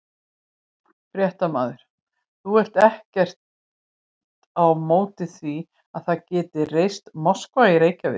Fréttamaður: Þú ert ekkert á móti því að það sé reist moska í Reykjavík?